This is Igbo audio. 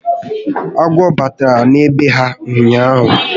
Agwọ batara na be ha ụnyaahụ